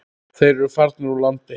Þeir eru farnir úr landi.